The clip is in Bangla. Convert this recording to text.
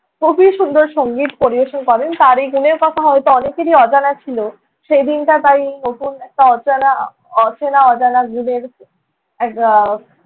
খুবই সুন্দর সঙ্গীত পরিবেশন করেন, তাঁর এই গুণের কথা হয়ত অনেকেরই অজানা ছিলো। সেই দিনটা তাই নতুন একটা অচানা~ অ~ অচেনা অজানা গুণের এক আহ